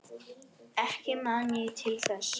Ekki man ég til þess.